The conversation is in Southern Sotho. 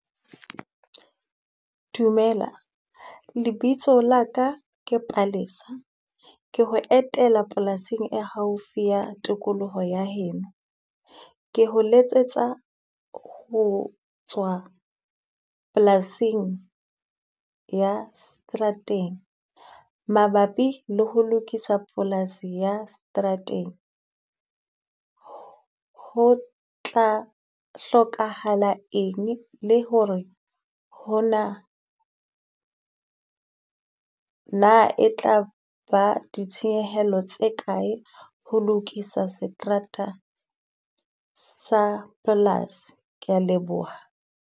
Dumela, lebitso la ka ke Palesa. Ke ho etela polasing e haufi ya tikoloho ya heno. Ke ho letsetsa ho tswa polasing ya seterateng mabapi le ho lokisa polasi ya seterateng. Ho tla hlokahala eng le ho re hona na e tla ba ditshenyehelo tse kae, ho lokisa seterata sa polasi, kea leboha.